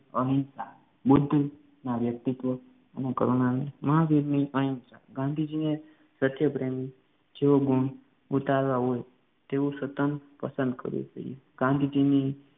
અહિંસા બુદ્ધના વ્યક્તિત્વને કરુણાને મહાવીરની અહિંસા, ગાંધીજીની સત્યપ્રેમ જેવો ગુણ ઉતારવા હોય તેવું સતત પસંદ કરવું જોઈએ ગાંધીજીની